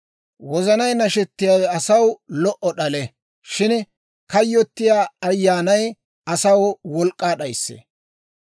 Wozanay nashettiyaawe asaw lo"o d'ale; shin kayyottiyaa ayaanay asaw wolk'k'aa d'ayissee.